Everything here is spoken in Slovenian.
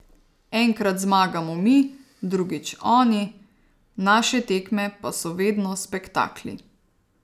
Enkrat zmagamo mi, drugič oni, naše tekme pa so vedno spektakli.